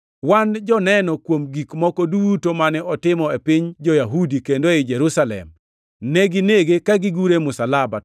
“Wan joneno kuom gik moko duto mane otimo e piny jo-Yahudi kendo ei Jerusalem. Neginege ka gigure e msalaba,